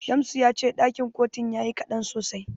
Shamsu ya ce ɗakin kotun yayi kaɗan sosai.